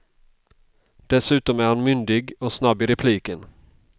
Dessutom är han myndig och snabb i repliken.